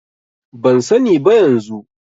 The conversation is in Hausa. Ban sani ba yanzu.